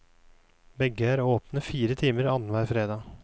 Begge er åpne fire timer annenhver fredag.